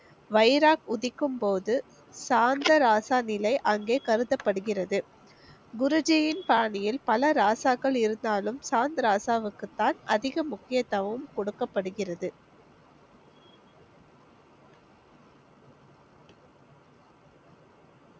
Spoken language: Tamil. வைராக் உதிக்கும் போது, சாந்த ராசா நிலை அங்கே கருதப்படுகிறது. குருஜியின் பாணியில் பல ராசாக்கள் இருந்தாலும் சாந்த ராசாவுக்குதான் அதிக முக்கியத்துவம் கொடுக்கப்படுகிறது.